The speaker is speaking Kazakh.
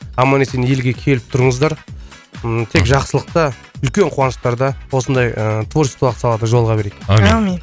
аман есен елге келіп тұрыңыздар ыыы тек жақсылықта үлкен қуаныштарда осындай ыыы творчестволық салада жолыға берейік әумин